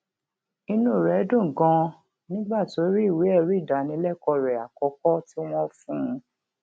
inú rè dùn ganan nígbà tó rí ìwé èrí ìdánilékòó rè àkókó tí wón fún un